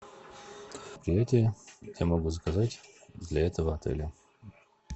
я могу заказать для этого отеля